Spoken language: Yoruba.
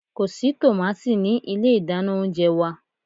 Ko si tomati ni ile idana ounjẹ wa